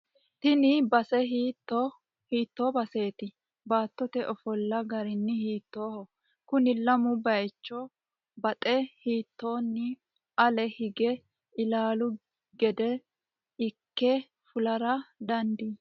Tini base hiitto baseeti? Baattote ofolla garino hiittoho? Kuni lamu bayiicho baxxe hiittonni ale hige ilaalu gede ikke fulara dandii?